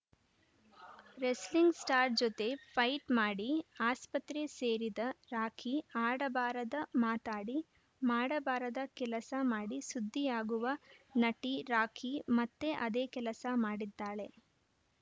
wrestling star ಜೊತೆ fight ಮಾಡಿ ಆಸ್ಪತ್ರೆ ಸೇರಿದ ರಾಖಿ ಆಡಬಾರದ ಮಾತಾಡಿ ಮಾಡಬಾರದ ಕೆಲಸ ಮಾಡಿ ಸುದ್ದಿಯಾಗುವ ನಟಿ ರಾಖಿ ಮತ್ತೆ ಅದೇ ಕೆಲಸ ಮಾಡಿದ್ದಾಳೆ